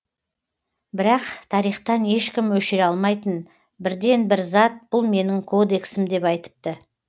бірақ тарихтан ешкім өшіре алмайтын бірден бір зат бұл менің кодексім деп айтыпты